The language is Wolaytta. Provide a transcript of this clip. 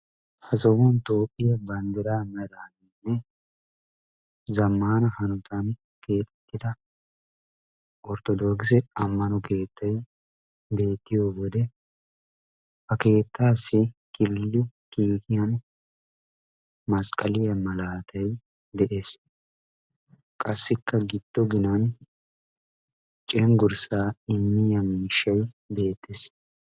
ha sohuwan toophphiya banddiraynne zammaana hanotan keexettida ortodookise ammano keetay masqqaliya malaatay de'es. qassikka giddo ginan cenggurssaa immiya miishshay beettes.